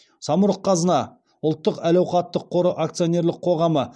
самұрық қазына ұлттық әл ауқаттық қоры акционерлік қоғамы